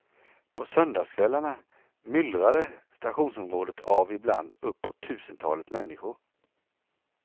På söndagkvällarna myllrade stationsområdet av ibland uppåt tusentalet människor.